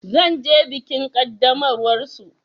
Zan je bikin ƙaddamarwar su.